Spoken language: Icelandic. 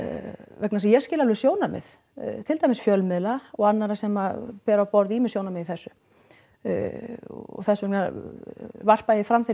vegna þess að ég skil alveg sjónarmið til dæmis fjölmiðla og annarra sem bera á borð ýmis sjónarmið í þessu og þess vegna varpa ég fram þeirri